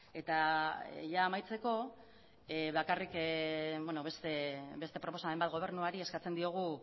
eta amaitzeko bakarrik beste proposamen bat gobernuari eskatzen diogu